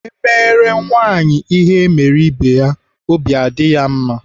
Emere nwaanyị ihe emere ibe ya, obi adị ya mma.